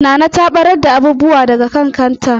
Nana ta ɓarar da abubuwa daga kan kanta.